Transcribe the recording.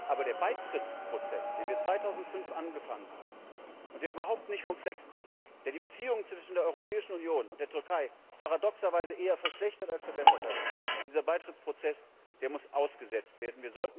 Aber der Beitrittsprozess, den wir 2005 angefangen haben und der überhaupt nicht vom Fleck kommt, der die Beziehungen zwischen der Europäischen Union und der Türkei paradoxerweise eher verschlechtert als verbessert hat, dieser Beitrittsprozess, der muss ausgesetzt werden.